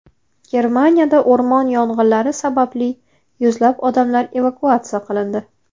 Germaniyada o‘rmon yong‘inlari sababli yuzlab odamlar evakuatsiya qilindi.